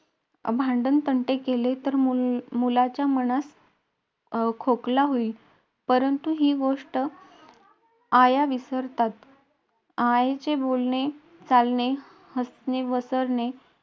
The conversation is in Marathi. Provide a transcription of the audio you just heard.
अं भांडणतंडण केले, तर मुलाच्या मनास खोकला होईल. परंतु ही गोष्ट आया विसरतात. आईचे बोलणे, चालणे, हसणेसवरणे,